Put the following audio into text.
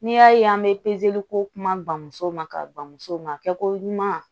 N'i y'a ye an bɛ ko kuma bamuso ma ka ban musow ma kɛ ko ɲuman